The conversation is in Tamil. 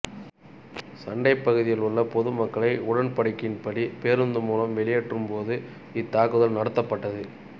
சண்டைப்பகுதியில் உள்ள பொதுமக்களை உடன்படிக்கையின்படி பேருந்து மூலம் வெளியேற்றும்போது இத்தாக்குதல் நடத்தப்பட்டது